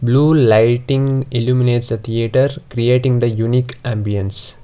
blue lighting eliminates a theatre creating the unique ambience.